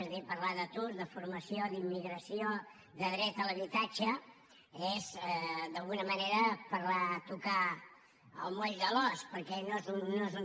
és a dir parlar d’atur de formació d’immigració de dret a l’habitatge és d’alguna manera tocar el moll de l’os perquè no és un